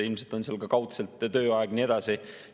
Ilmselt on seal ka kaudselt tööaeg ja nii edasi.